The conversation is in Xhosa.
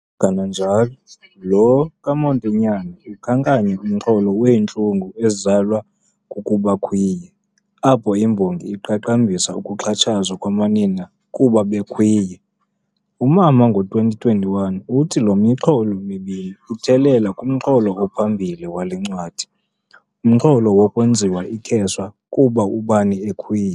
Kananjalo, lo kaMotinyane ukhankanya umxholo wentlungu ezalwa kukuba khwiye, apho imbongi iqaqambisa ukuxhatshazwa kwamanina kuba bekhwiye. UMama, ngo-2021, uthi, le mixholo mibini ithelela kumxholo ophambili wale ncwadi, umxholo wokwenziwa ikheswa kuba ubani ekhwiye.